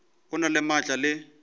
o na le maatla le